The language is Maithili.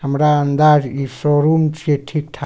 हमरा अंदाज इ शोरूम छीये ठीक-ठाक।